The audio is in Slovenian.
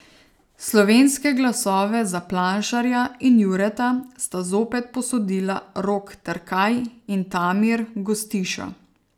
Slovenske glasove za Planšarja in Jureta sta zopet posodila Rok Terkaj in Tamir Gostiša.